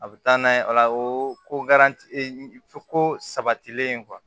A bɛ taa n'a ye o la o ko ko sabatilen